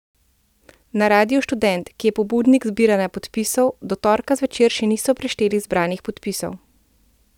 Na Radiu Študent, ki je pobudnik zbiranja podpisov, do torka zvečer še niso prešteli zbranih podpisov.